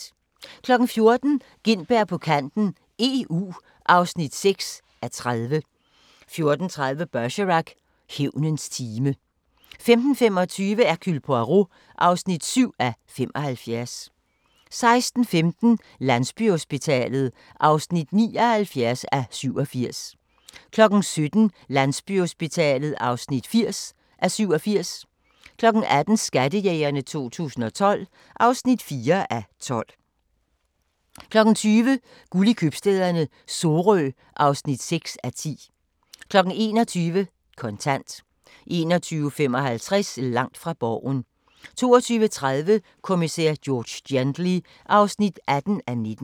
14:00: Gintberg på kanten - EU (6:30) 14:30: Bergerac: Hævnens time 15:25: Hercule Poirot (7:75) 16:15: Landsbyhospitalet (79:87) 17:00: Landsbyhospitalet (80:87) 18:00: Skattejægerne 2012 (4:12) 20:00: Guld i Købstæderne - Sorø (6:10) 21:00: Kontant 21:55: Langt fra Borgen 22:30: Kommissær George Gently (18:19)